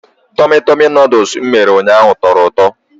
Tummy tummy Nụdụls m mere ụnyaahụ tọrọ ụtọ.